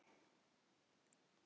Sauðfé hefur drepist í Landbroti